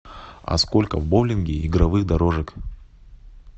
а сколько в боулинге игровых дорожек